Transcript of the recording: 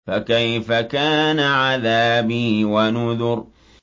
فَكَيْفَ كَانَ عَذَابِي وَنُذُرِ